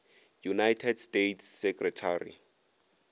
united states secretary